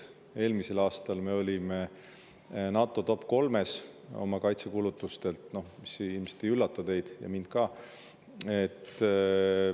Eelmisel aastal me olime NATO topp kolmes oma kaitsekulutustelt, mis ilmselt ei üllata teid ega mind ka.